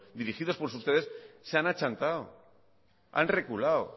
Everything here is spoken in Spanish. dirigidos por ustedes se han achantado han reculado